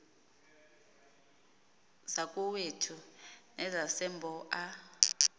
zakowethu nezasembo a